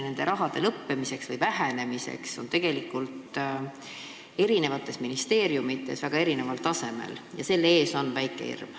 Selle raha lõppemiseks või vähenemiseks valmistumine on eri ministeeriumides väga erineval tasemel ja selle ees on väike hirm.